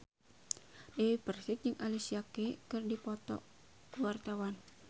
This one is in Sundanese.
Dewi Persik jeung Alicia Keys keur dipoto ku wartawan